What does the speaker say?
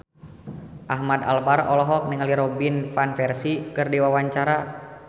Ahmad Albar olohok ningali Robin Van Persie keur diwawancara